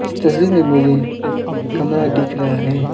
इस तस्वीर में मुझे एक कमरा दिख रहा है।